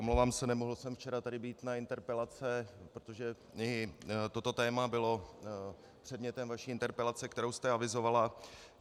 Omlouvám se, nemohl jsem včera tady být na interpelace, protože i toto téma bylo předmětem vaší interpelace, kterou jste avizovala.